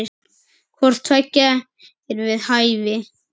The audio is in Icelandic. Hvort tveggja er við hæfi.